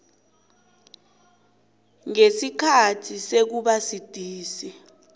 ngesikhathi sokuba sidisi